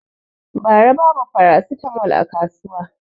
Ba ra babu farasitamol a kasuwa